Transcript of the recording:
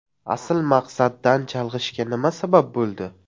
Asl maqsaddan chalg‘ishga nima sabab bo‘ldi?